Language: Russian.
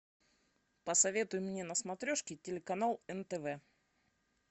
посоветуй мне на смотрешке телеканал нтв